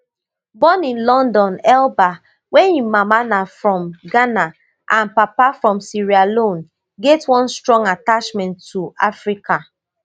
born in london elba wey im mama na from ghana and papa from sierra leone get one strong attachment to africa